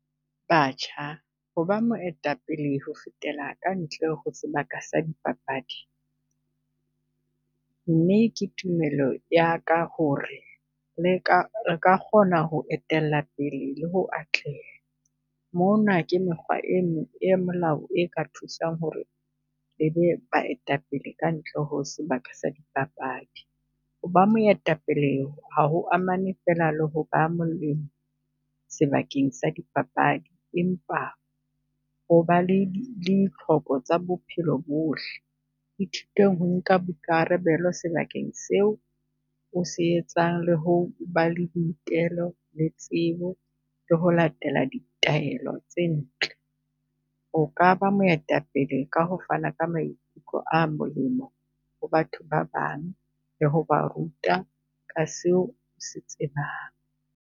Batjha ho ba moetapele ho fetela ka ntle ho sebaka sa dipapadi, mme ke tumelo ya ka ho re le ka, re ka kgona ho etella pele le ho atleha. Mona ke mekgwa e e melao e ka thusang ho re baetapele kantle ho sebaka sa dipapadi. Ho ba moetapele ha ho amane fela le ho molemo sebakeng sa dipapadi, empa ho ba le le ditlhoko tsa bophelo bohle. Ithute ho nka boikarabelo sebakeng seo o se etsang, le ho ba le boitelo le tsebo le ho latela la ditaelo tse ntle. O ka ba moetapele ka ho fana ka maikutlo a molemo ho batho ba bang, le ho ba ruta ka seo se tsebang.